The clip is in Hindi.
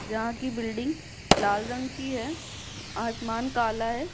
जहाँ की बिल्डिंग लाल रंग की है आसमान काला है।